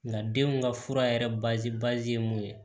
Nga denw ka fura yɛrɛ ye mun ye